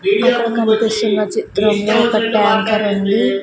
అక్కడ కన్పిస్తున్న చిత్రంలో ఒక ఉంది.